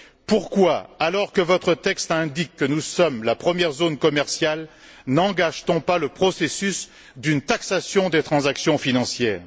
Pourquoi, alors que votre texte indique que nous sommes la première zone commerciale, n'engage t on pas le processus d'une taxation des transactions financières?